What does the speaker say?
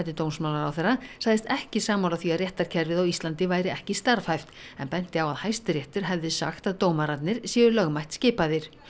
dómsmálaráðherra sagðist ekki sammála því að réttarkerfið á Íslandi væri ekki starfhæft en benti á Hæstiréttur hefði sagt að dómararnir séu lögmætt skipaðir